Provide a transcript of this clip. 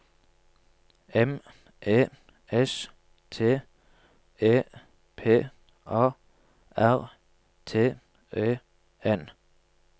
M E S T E P A R T E N